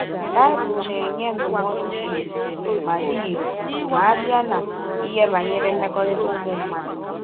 Bible na - enye ndụmọdụ dị irè ma dị irè ma a bịa n’ihe banyere mmekọrịta ụmụ mmadụ.